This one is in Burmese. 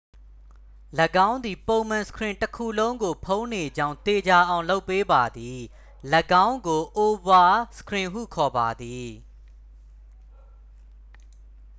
၎င်းသည် ပုံမှာ စခရင်တစ်ခုလုံးကိုဖုံးနေကြောင်း သေချာအောင်လုပ်ပေးပါသည် ၎င်းကို အိုဗာစခရင်ဟုခေါ်ပါသည်